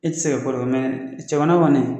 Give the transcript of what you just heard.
I tɛ se ka ko dɔ kɛ mɛ cɛgana kɔni